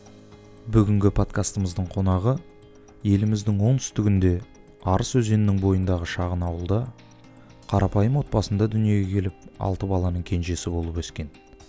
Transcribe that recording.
бүгінгі подкастымыздың қонағы еліміздің оңтүстігінде арыс өзенінің бойындағы шағын ауылда қарапайым отбасында дүниеге келіп алты баланың кенжесі болып өскен